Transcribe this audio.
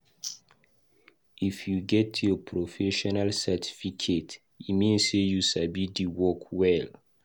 If you get your professional certificate, e mean sey you sabi di work well.